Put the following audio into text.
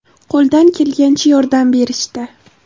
Qo‘ldan kelgancha yordam berishdi.